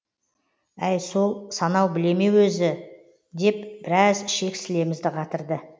әй сол санау біле ме екен өзі деп біраз ішек сілемізді қатырды